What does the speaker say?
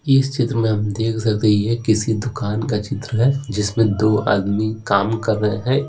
इस चित्र में हम देख सकते हैं ये किसी दुकान का चित्र है जिसमें दो आदमी काम कर रहे हैं।